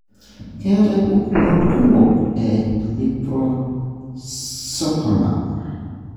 keetae pukunot kumok e liposarcoma.